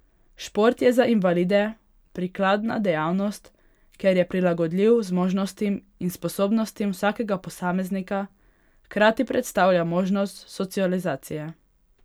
Šport je za invalide prikladna dejavnost, ker je prilagodljiv zmožnostim in sposobnostim vsakega posameznika, hkrati predstavlja možnost socializacije.